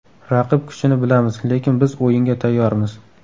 Raqib kuchini bilamiz, lekin biz o‘yinga tayyormiz.